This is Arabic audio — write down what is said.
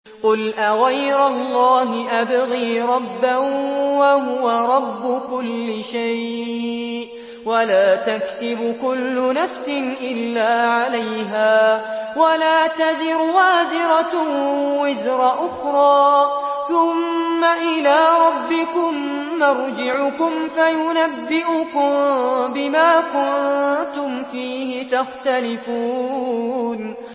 قُلْ أَغَيْرَ اللَّهِ أَبْغِي رَبًّا وَهُوَ رَبُّ كُلِّ شَيْءٍ ۚ وَلَا تَكْسِبُ كُلُّ نَفْسٍ إِلَّا عَلَيْهَا ۚ وَلَا تَزِرُ وَازِرَةٌ وِزْرَ أُخْرَىٰ ۚ ثُمَّ إِلَىٰ رَبِّكُم مَّرْجِعُكُمْ فَيُنَبِّئُكُم بِمَا كُنتُمْ فِيهِ تَخْتَلِفُونَ